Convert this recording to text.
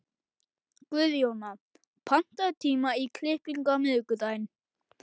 Guðjóna, pantaðu tíma í klippingu á miðvikudaginn.